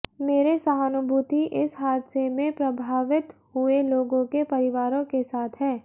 मेरे सहानभूति इस हादसे में प्रभावित हुए लोगों के परिवारों के साथ हैं